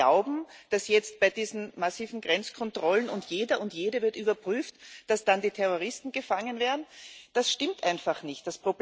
Alle, die glauben, dass jetzt bei diesen massiven Grenzkontrollen und jeder und jede wird überprüft die Terroristen gefangen werden Das stimmt einfach nicht.